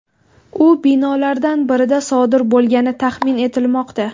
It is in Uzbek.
U binolardan birida sodir bo‘lgani taxmin etilmoqda.